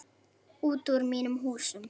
Út úr mínum húsum!